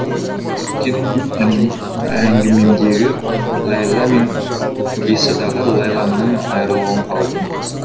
өйткені мен әңгімемдегі ләйлә мен пьесадағы ләйләмнан айырылып қалдым